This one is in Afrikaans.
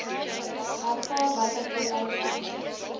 ervaar watter vooruitgang